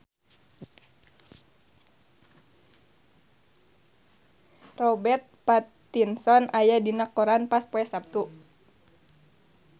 Robert Pattinson aya dina koran poe Saptu